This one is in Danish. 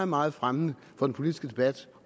meget fremmende for den politiske debat